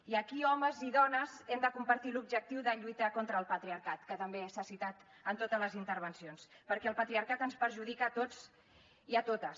i aquí homes i dones hem de compartir l’objectiu de lluitar contra el patriarcat que també s’ha citat en totes les intervencions perquè el patriarcat ens perjudica a tots i a totes